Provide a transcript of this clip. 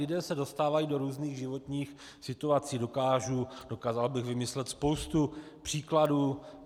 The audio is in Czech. Lidé se dostávají do různých životních situací, dokázal bych vymyslet spoustu příkladů.